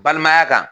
Balimaya kan